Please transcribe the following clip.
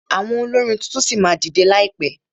Àwọn olórin tuntun ṣì máa dìdẹ láìpẹ.